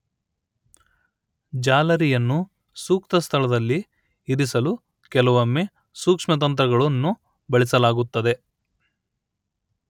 ಜಾಲರಿಯನ್ನು ಸೂಕ್ತ ಸ್ಥಳದಲ್ಲಿ ಇರಿಸಲು ಕೆಲವೊಮ್ಮೆ ಸೂಕ್ಷ್ಮತಂತುಗಳನ್ನು ಬಳಸಲಾಗುತ್ತದೆ